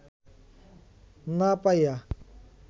না পাইয়া